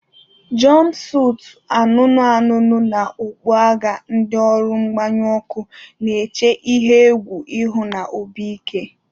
Jompusutu anụnụ anụnụ na okpu agha, ndị ọrụ mgbanyụ ọkụ na-eche ihe egwu ihu na obi ike.